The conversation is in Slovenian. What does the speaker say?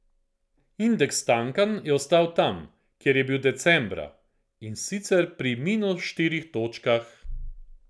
Indeks Tankan je ostal tam, kjer je bil decembra, in sicer pri minus štirih točkah.